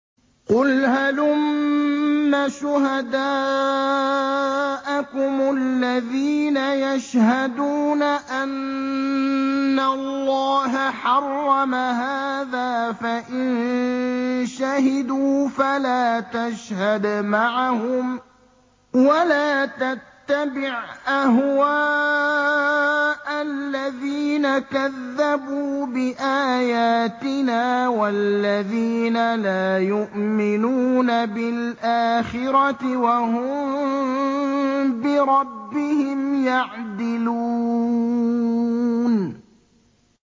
قُلْ هَلُمَّ شُهَدَاءَكُمُ الَّذِينَ يَشْهَدُونَ أَنَّ اللَّهَ حَرَّمَ هَٰذَا ۖ فَإِن شَهِدُوا فَلَا تَشْهَدْ مَعَهُمْ ۚ وَلَا تَتَّبِعْ أَهْوَاءَ الَّذِينَ كَذَّبُوا بِآيَاتِنَا وَالَّذِينَ لَا يُؤْمِنُونَ بِالْآخِرَةِ وَهُم بِرَبِّهِمْ يَعْدِلُونَ